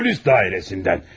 Polis idarəsindən.